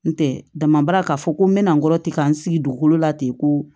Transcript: N tɛ damadɛ k'a fɔ ko n bɛna n kɔrɔtɛ k'an sigi dugukolo la ten ko